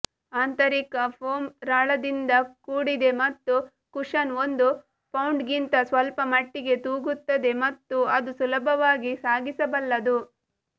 ಆಂತರಿಕ ಫೋಮ್ ರಾಳದಿಂದ ಕೂಡಿದೆ ಮತ್ತು ಕುಷನ್ ಒಂದು ಪೌಂಡ್ಗಿಂತ ಸ್ವಲ್ಪಮಟ್ಟಿಗೆ ತೂಗುತ್ತದೆ ಮತ್ತು ಅದು ಸುಲಭವಾಗಿ ಸಾಗಿಸಬಲ್ಲದು